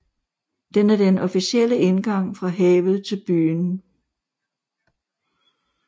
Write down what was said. Den er den officielle indgang fra havet til byen